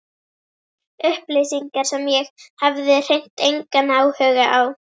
Upplýsingar sem ég hafði hreint engan áhuga á.